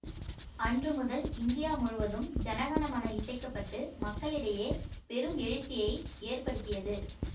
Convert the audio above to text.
அன்று முதல் இந்தியா முழுதும் ஜன கண மன இசைக்கப்பட்டு மக்களிடையே பெரும் எழுச்சியை ஏற்படுத்தியது